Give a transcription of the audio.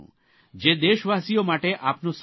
જે દેશવાસીઓ માટે આપનો સંદેશ બને